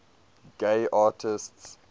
gay artists